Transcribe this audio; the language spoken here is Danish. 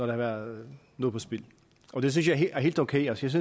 været noget på spil og det synes jeg er helt okay jeg synes